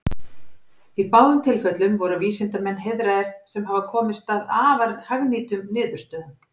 Í báðum tilfellum voru vísindamenn heiðraðir sem hafa komist að afar hagnýtum niðurstöðum.